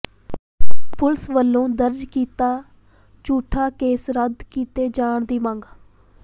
police ਵੱਲੋਂ ਦਰਜ ਕੀਤਾ ਝੂਠਾ ਕੇਸ ਰੱਦ ਕੀਤੇ ਜਾਣ ਦੀ ਮੰਗ